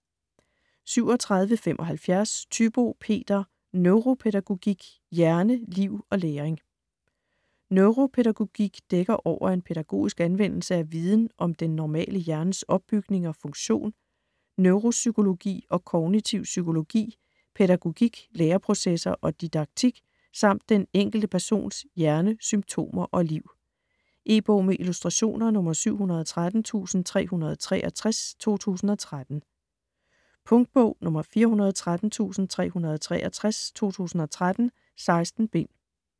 37.75 Thybo, Peter: Neuropædagogik: hjerne, liv og læring Neuropædagogik dækker over en pædagogisk anvendelse af viden om den normale hjernes opbygning og funktion, neuropsykologi og kognitiv psykologi, pædagogik, læreprocesser og didaktik samt den enkelte persons hjerne, symptomer og liv. E-bog med illustrationer 713363 2013. Punktbog 413363 2013. 16 bind.